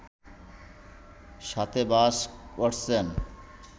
সাথে বাস করছেন